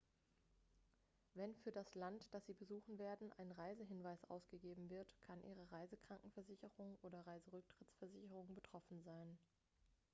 wenn für das land dass sie besuchen werden ein reisehinweis ausgegeben wird kann ihre reisekrankenversicherung oder reiserücktrittsversicherung betroffen sein